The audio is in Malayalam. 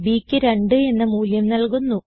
bക്ക് 2 എന്ന മൂല്യം നല്കുന്നു